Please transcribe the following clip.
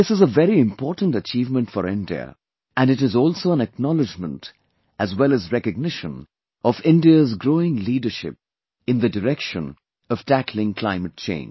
This is a very important achievement for India and it is also an acknowledgement as well as recognition of India's growing leadership in the direction of tackling climate change